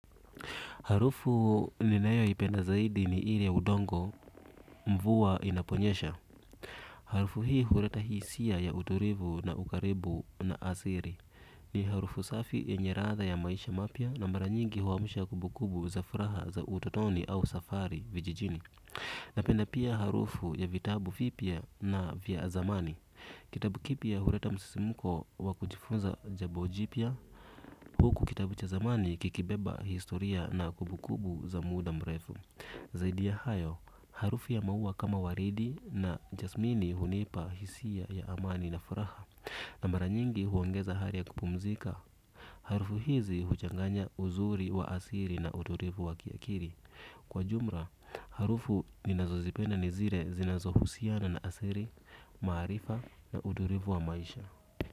Harufu ninayoipenda zaidi ni ile udongo mvua inaponyesha. Harufu hii hureta hisia ya uturivu na ukaribu na asiri. Ni harufu safi yenye radha ya maisha mapia na mara nyingi huamusha kubukubu za furaha za utotoni au safari vijijini. Napenda pia harufu ya vitabu vipya na vya zamani. Kitabu kipia hurata msisimuko wakujifunza jabo jipia. Huku kitabu cha zamani kikibeba historia na kubukubu za muda mrefu zaidi ya hayo harufu ya mau kama waridi na jasmini unipa hisia ya amani na furaha kwa mara nyingi uongeza hari ya kupumzika. Harufu hizi huchanganya uzuri wa asiri na udurivu wa kiakiri. Kwa jumra, harufu ninazo zipena nizire zinazo husiana na asiri, maharifa na udurivu wa maisha.